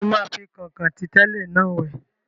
Ṣé o máa fi kọ̀nkọ̀n tí tẹ́lẹ̀ náà wẹ̀?